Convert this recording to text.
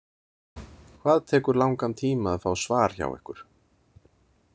Hvað tekur langan tíma að fá svar hjá ykkur.